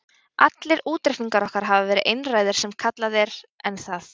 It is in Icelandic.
Allir útreikningar okkar hafa verið einræðir sem kallað er, en það